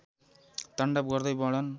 ताण्डव गर्दै वर्णन